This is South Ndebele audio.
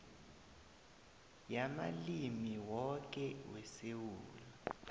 yamalimi woke wesewula